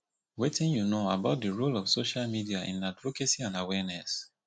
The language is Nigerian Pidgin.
wetin you know about di role of social media in advocacy and awareness